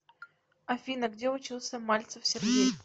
афина где учился мальцев сергей